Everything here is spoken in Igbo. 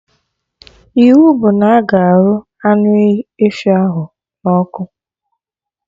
Iwu bụ na-aga arụ anụ efi ahụ na ọkụ!